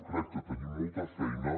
crec que tenim molta feina